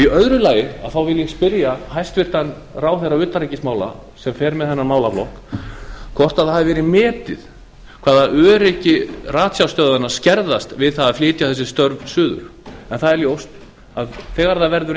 í öðru lagi vil ég spyrja hæstvirtan ráðherra utanríkismála sem fer með þennan málaflokk hvort það hafi verið metið hvaða öryggi ratsjárstöðvanna skerðast við það að flytja þessi störf suður en það er ljóst að þegar það verður